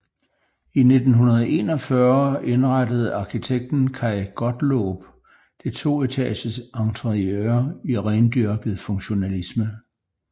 I 1941 indrettede arkitekten Kaj Gottlob det toetages interiør i rendyrket funktionalisme